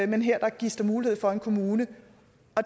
men her gives der mulighed for en kommune